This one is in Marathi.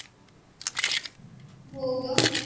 हो ग.